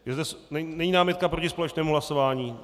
Není námitka proti společnému hlasování?